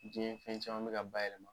Diɲɛ fɛn caman be ka bayɛlɛma.